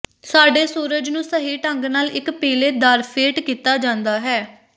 ਸਾਡੇ ਸੂਰਜ ਨੂੰ ਸਹੀ ਢੰਗ ਨਾਲ ਇੱਕ ਪੀਲੇ ਦਾਰਫੇਟ ਕੀਤਾ ਜਾਂਦਾ ਹੈ